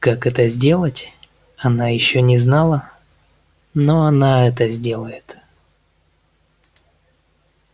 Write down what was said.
как это сделать она ещё не знала но она это сделает